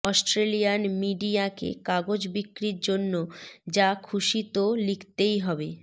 Australian মিডিয়াকে কাগজ বিক্রির জন্য যা খুশি তো লিখতেই হবে